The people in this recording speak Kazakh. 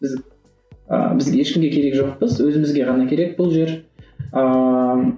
біз ы біз ешкімге керек жоқпыз өзімізге ғана керек бұл жер ыыы